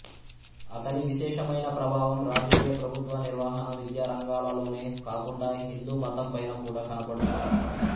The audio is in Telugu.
అతని విశేషమైన ప్రభావం రాజకీయ ప్రభుత్వ నిర్వహణ విద్యా రంగాలలోనే కాకుండా హిందూమతం పైన కూడా కనపడుతుంది